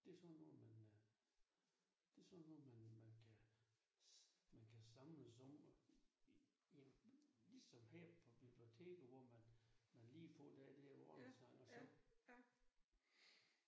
Det sådan noget man øh det sådan noget man man kan man kan samles om jamen ligesom her på biblioteket hvor man man lige får det der morgensang og så